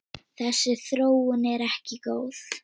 Þessi þróun sé ekki góð.